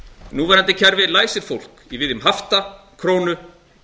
núverandi kerfi læsir fólk í viðjum hafta krónu